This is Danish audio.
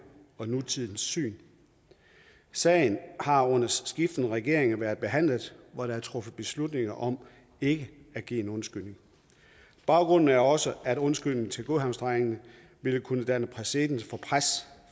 og nutidens syn sagen har under skiftende regeringer været behandlet hvor der er truffet beslutning om ikke at give en undskyldning baggrunden er også at undskyldningen til godhavnsdrengene vil kunne danne præcedens